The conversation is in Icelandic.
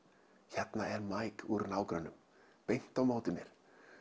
hérna er úr nágrönnum beint á móti mér